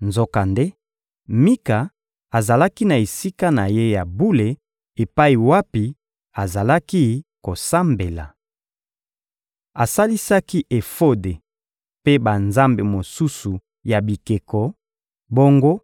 Nzokande, Mika azalaki na esika na ye ya bule epai wapi azalaki kosambela. Asalisaki efode mpe banzambe mosusu ya bikeko; bongo